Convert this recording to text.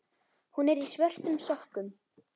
Hún er í svörtum sokkum.